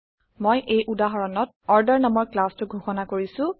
মই এই উদাহৰণত অৰ্ডাৰ নামৰ ক্লাছ টো ঘোষণা কৰিছো